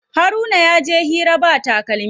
Haruna yaje hira ba takalmi.